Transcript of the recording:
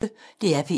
DR P1